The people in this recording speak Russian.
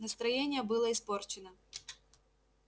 настроение было испорчено